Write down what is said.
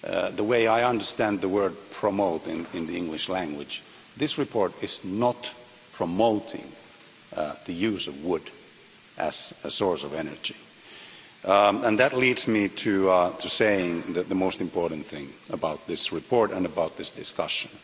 The way I understand the word promote' in the English language, this report is not promoting the use of wood as a source of energy. That leads me to say the most important thing about this report and about this discussion.